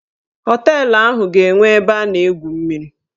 Họteelụ ahụ ga-enwe ebe a na-egwu mmiri.